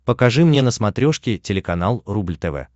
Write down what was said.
покажи мне на смотрешке телеканал рубль тв